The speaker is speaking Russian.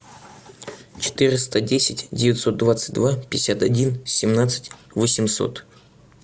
четыреста десять девятьсот двадцать два пятьдесят один семнадцать восемьсот